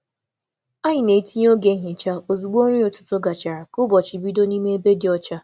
Anyị na-etinye oge nhicha ozugbo nri ụtụtụ gachara ka ụbọchị bido n’ime ebe dị ọcha.